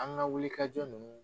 An ka wuli kajɔ nunnu